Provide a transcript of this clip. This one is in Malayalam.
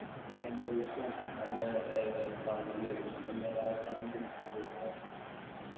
നല്ല അടിയൊഴുക്കും നല്ല ഏർ വെള്ളം കേറീക്കുണു അപ്പൊ എന്തായാലും ആൾക്കാരൊന്നും കുളിച്ചാൻ അവസ്ഥയാ